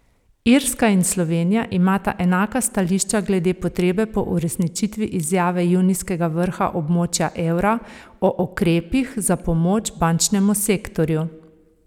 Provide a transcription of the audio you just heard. Irska in Slovenija imata enaka stališča glede potrebe po uresničitvi izjave junijskega vrha območja evra o ukrepih za pomoč bančnemu sektorju.